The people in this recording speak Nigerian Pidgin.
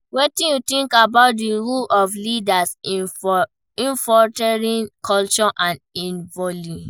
Wetin you know about di role of leaders in fostering culture of innovaion?